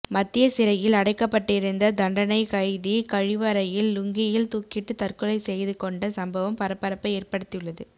மத்திய சிறையில் அடைக்கப்பட்டிருந்த தண்டனை கைதி கழிவறையில் லுங்கியில் தூக்கிட்டு தற்கொலை செய்து கொண்ட சம்பவம் பரபரப்பை ஏற்ப்படுத்தியுள்ளது